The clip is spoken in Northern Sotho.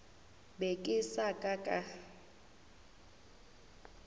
be ke sa ka ka